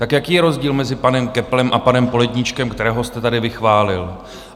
Tak jaký je rozdíl mezi panem Köpplem a panem Poledníčkem, kterého jste tady vychválil?